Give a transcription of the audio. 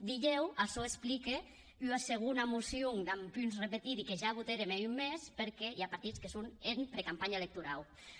dilhèu açò explique ua segona mocion damb punts repetidi que ja votèrem hè un mes perque i a partits que son en precampanha electorau